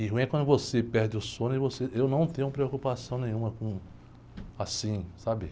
E ruim é quando você perde o sono e você... Eu não tenho preocupação nenhuma com assim, sabe?